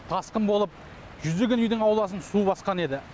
тасқын болып жүздеген үйдің ауласын су басқан еді